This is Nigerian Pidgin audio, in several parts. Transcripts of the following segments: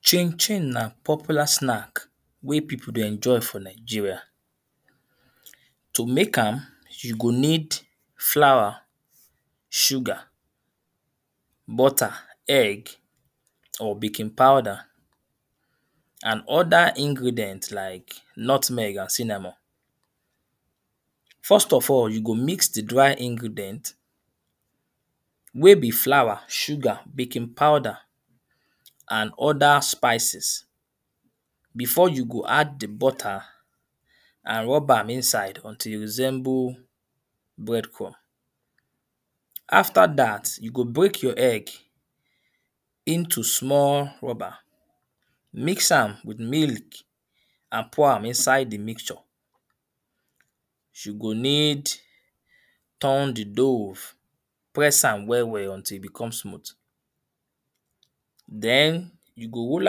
Chinchin na popular snack wey people dey enjoy for Nigeria. To make am, you go need flour, sugar, butter, egg or baking powder and other ingredient like nutmeg and cinnamon. First of all, you go mix the dry ingredient, wey be flour, sugar, baking powder and other spices. Before you go add the butter and rub am inside until e resemble breadcrumb. After dat, you go break your egg into small rubber mix am with milk and pour am inside the mixture. You go need turn the dough press am well well until e become smooth. Den you go roll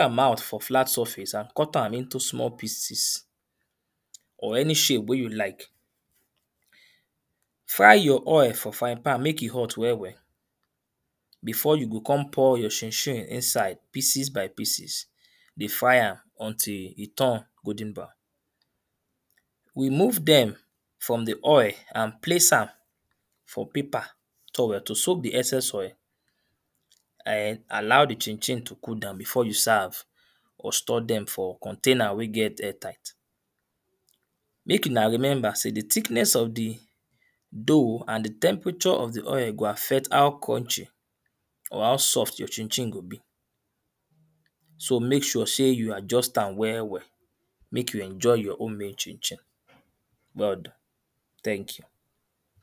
am out for flat sufface and cut am into small peices or any shape wey you like. Fry your oil for fry pan make e hot well well before you go con pour your chinchin inside pieces by pieces. Dey fry am until e turn golden brown. Remove dem from the oil and place am for paper [2] to soak the excess oil and allow the chinchin to cool down before you serve or store dem for container wey get air tight. Make huna remember sey the thickness of the dough and the temperature of the oil go affect how crunchy or how soft your chinchin go be. So make sure sey you adjust am well well. Make you enjoy your home made chinchin. [2] Thank you.